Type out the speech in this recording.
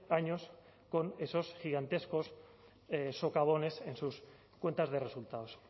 años con esos gigantescos socavones en sus cuentas de resultados